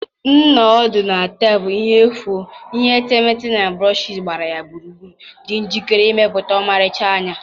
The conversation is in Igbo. M nọ ọdụ na tebụl ihe efu m, ihe etemeete na brushes gbara ya gburugburu, dị njikere ịmepụta ọmarịcha anya